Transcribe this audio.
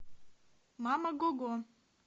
мама гого